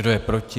Kdo je proti?